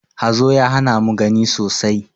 Hazo ya hana mu gani sosai.